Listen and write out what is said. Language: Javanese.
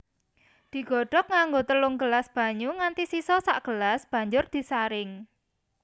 Digodhog nganggo telung gelas banyu nganti sisa sagelas banjur disaring